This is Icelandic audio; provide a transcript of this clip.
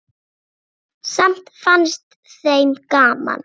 Samt fannst þeim gaman.